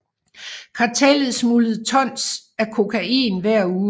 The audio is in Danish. Kartellet smuglede tons af kokain hver uge